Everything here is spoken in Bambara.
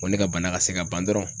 Ko ne ka bana ka se ka ban dɔrɔn.